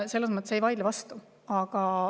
Selles mõttes ma ei vaidle vastu.